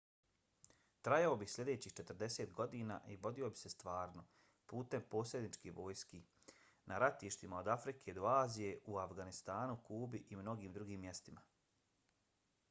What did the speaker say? trajao bi sljedećih 40 godina i vodio bi se stvarno putem posredničkih vojski na ratištima od afrike do azije u afganistanu kubi i mnogim drugim mjestima